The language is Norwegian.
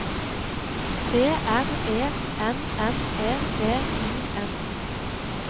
B R E N N E V I N